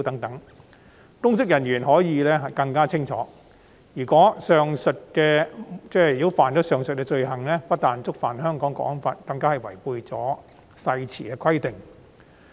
《條例草案》讓公職人員更清楚，如果干犯上述罪行，不但觸犯《香港國安法》，更違反誓言的規定。